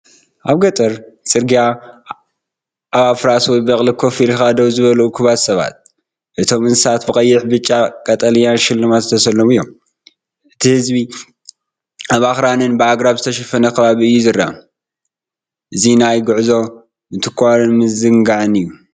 ኣብ ገጠር ጽርግያ፡ ኣብ ኣፍራስ ወይ በቕሊ ኮፍ ኢሎም ደው ዝበሉ እኩባት ሰባት። እቶም እንስሳታት ብቐይሕ፣ ብጫን ቀጠልያን ሽልማት ዝተሰለሙ እዮም። እቲ ህዝቢ ኣብ ኣኽራንን ብኣግራብ ዝተሸፈነን ከባቢ እዩ ዝረአ። እዚ ናይ ጉዕዞ፡ ምትኳርን ምዝንጋዕን እዩ።